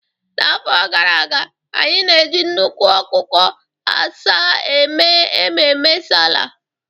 N'afọ gara aga, anyị na-eji nnukwu ọkụkọ asaa eme ememe sallah